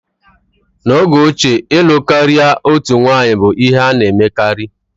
N'oge ochie ịlụ karịa otu nwanyị bụ ihe a na-emekarị.